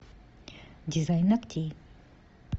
дизайн ногтей